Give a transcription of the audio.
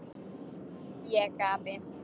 Ég gapi.